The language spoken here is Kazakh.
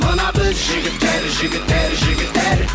мына біз жігіттер жігіттер жігіттер